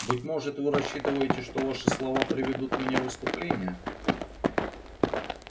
быть может вы рассчитываете что ваши слова приведут меня в исступление